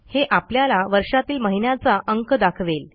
हे आपल्याला वर्षातील महिन्याचा अंक दाखवेल